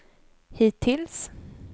hittills